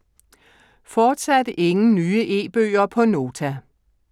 Fortsat ingen nye e-bøger på Nota